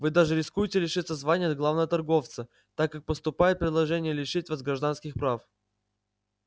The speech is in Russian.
вы даже рискуете лишиться звания главного торговца так как поступает предложение лишить вас гражданских прав